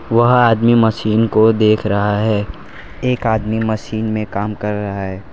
वह आदमी मशीन को देख रहा है एक आदमी मशीन में काम कर रहा है।